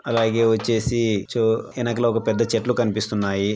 అలాగే వచ్చేసి ఎనకాల పెద్ద చెట్లు కనిపిస్తున్నాయి --